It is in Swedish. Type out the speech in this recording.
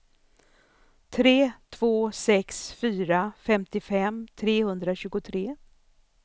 tre två sex fyra femtiofem trehundratjugotre